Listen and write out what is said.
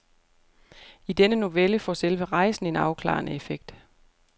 I denne novelle får selve rejsen en afklarende effekt.